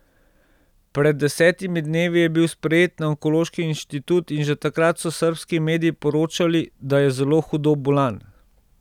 Pred desetimi dnevi je bil sprejet na Onkološki inštitut in že takrat so srbski mediji poročali, da je zelo hudo bolan.